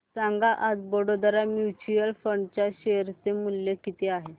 सांगा आज Baroda mutual fund च्या शेअर चे मूल्य किती आहे